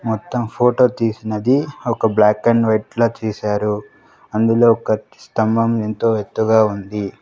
మొత్తం ఫోటో తీసినది ఒక బ్లాక్ అండ్ వైట్ లా తీశారు అందులో ఒక స్తంభం ఎంతో ఎత్తుగా ఉంది.